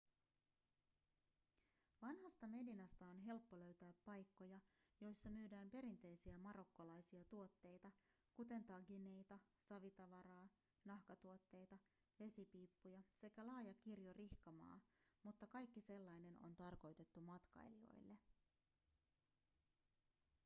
vanhasta medinasta on helppo löytää paikkoja joissa myydään perinteisiä marokkolaisia tuotteita kuten tagineita savitavaraa nahkatuotteita vesipiippuja sekä laaja kirjo rihkamaa mutta kaikki sellainen on tarkoitettu matkailijoille